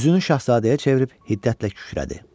Üzünü şahzadəyə çevirib hiddətlə kükrədi: